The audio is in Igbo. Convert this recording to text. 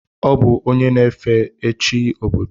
Ọ bụ onye na-efe chi obodo.